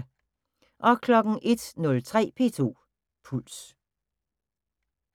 01:03: P2 Puls